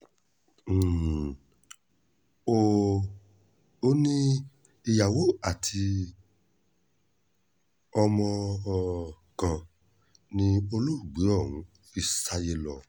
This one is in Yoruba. um ó ní ìyàwó àti ọmọ um kan ni olóògbé ọ̀hún fi sáyé lọ